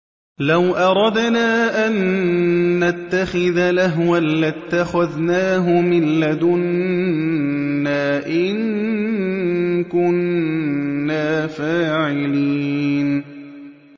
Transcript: لَوْ أَرَدْنَا أَن نَّتَّخِذَ لَهْوًا لَّاتَّخَذْنَاهُ مِن لَّدُنَّا إِن كُنَّا فَاعِلِينَ